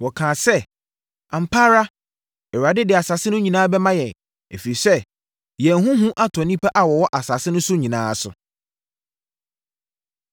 Wɔkaa sɛ, “Ampa ara Awurade de asase no nyinaa bɛma yɛn, ɛfiri sɛ, yɛn ho hu atɔ nnipa a wɔwɔ asase no so nyinaa so.”